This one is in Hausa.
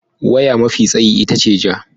Waya mafi tsayi ita ce ja.